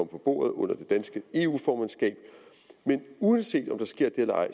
på bordet under det danske eu formandskab men uanset om det sker eller ej